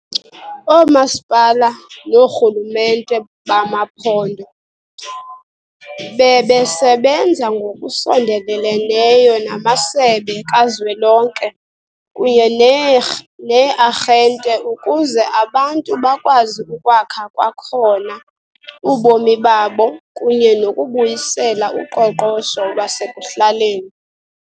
OoMasipala noorhulumente bamaphondo bebesebenza ngokusondeleleneyo namasebe kazwelonke kunye nee-rh nee-arhente ukuze abantu bakwazi ukwakha kwakhona ubomi babo kunye nokubuyisela uqoqosho lwasekuhlaleni.